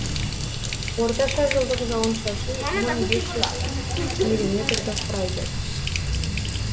орташа жылдық жауын шашын мың бес жүз миллиметрді құрайды